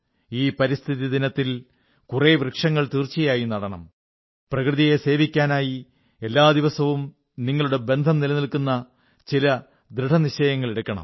ഈ പരിസ്ഥിതി ദിനത്തിൽ കുറെ വൃക്ഷങ്ങൾ തീർച്ചയായും നടണം പ്രകൃതിയെ സേവിക്കാനായി എല്ലാ ദിവസവും നിങ്ങളുടെ ബന്ധം നിലനിൽക്കുന്ന ചില ദൃഢനിശ്ചയങ്ങൾ എടുക്കണം